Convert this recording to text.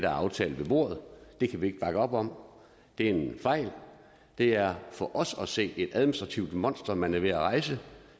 aftalt ved bordet det kan vi ikke bakke op om det er en fejl det er for os at se et administrativt monster man er ved at rejse